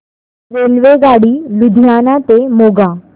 रेल्वेगाडी लुधियाना ते मोगा